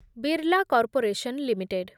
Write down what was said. Birla corporation limited